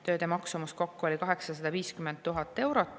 Tööde maksumus kokku oli 850 000 eurot.